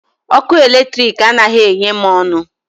Ọkụ eletrik anaghị enye m ọṅụ.